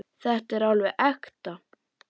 Þetta er alveg ekta.